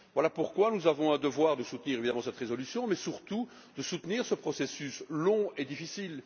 Voilà pourquoi nous avons le devoir de soutenir évidemment cette résolution, mais surtout de soutenir ce processus long et difficile.